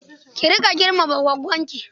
Ki riƙa girmama goggonki.